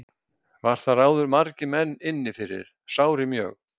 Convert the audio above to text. Var þar áður margir menn inni fyrir sárir mjög.